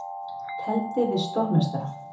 Tefldi við stórmeistara